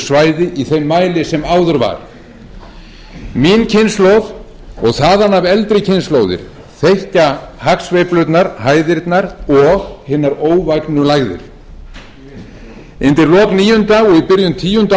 svæði í þeim mæli sem áður var mín kynslóð og þaðan af eldri kynslóðir þekkja hagsveiflurnar hæðirnar og hinar óvægnu lægðir undir lok níunda og í byrjun tíunda